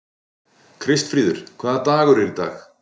Kristfríður, hvaða dagur er í dag?